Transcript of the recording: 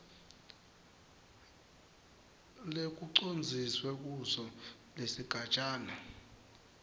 lekucondziswe kuso kusigatjana